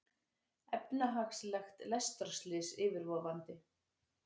Efnahagslegt lestarslys yfirvofandi